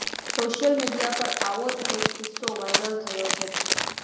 social media પર આવો જ એક કિસ્સો વાયરલ થયો છે